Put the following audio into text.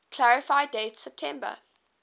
clarify date september